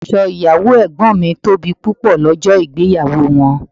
Aṣọ ìyàwó ẹ̀gbọ́n mi tóbi pupọ lọ́jọ́ ìgbéyàwó wọn.